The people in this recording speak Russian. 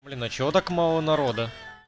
блин а чего так мало народа